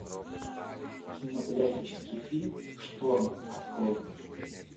кинематографический фильм шторм открой